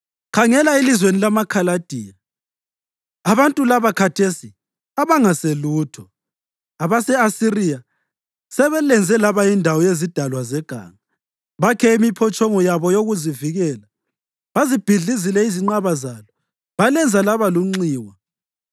Khangela elizweni lamaKhaladiya, abantu laba khathesi abangaselutho! Abase-Asiriya sebelenze laba yindawo yezidalwa zeganga; bakhe imiphotshongo yabo yokuzivikela, bazibhidlizile izinqaba zalo balenza laba lunxiwa.